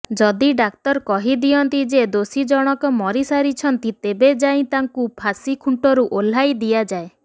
ଯଦି ଡାକ୍ତର କହିଦିଅନ୍ତି ଯେ ଦୋଷୀ ଜଣକ ମରିସାରିଛନ୍ତି ତେବେ ଯାଇ ତାଙ୍କୁ ଫାସି ଖୁଣ୍ଟରୁ ଓହ୍ଲାଇ ଦିଆଯାଏ